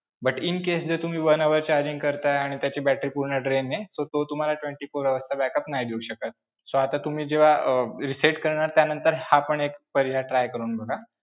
But incase जर तुम्ही one hour charging करताय आणि त्याची battery पूर्ण drain आहे, so तो तुम्हाला twenty-four hours चा backup नाही देऊ शकत. so आता तुम्ही जेव्हा अं reset करणार त्यानंतर हा पण एक पर्याय try करून बघा.